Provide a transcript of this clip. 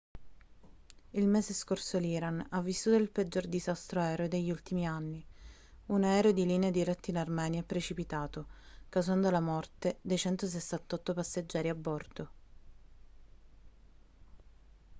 il mese scorso l'iran ha vissuto il peggior disastro aereo degli ultimi anni un aereo di linea diretto in armenia è precipitato causando la morte dei 168 passeggeri a bordo